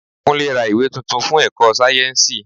Kúnlé ra ìwé tuntun fún èkó sáyẹ́nsì.